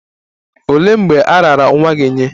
Olee mgbe a raara nwa gị nye?